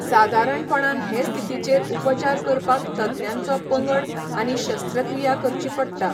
सादारणपणान हे स्थितीचेर उपचार करपाक तज्ञांचो पंगड आनी शस्त्रक्रिया करची पडटा.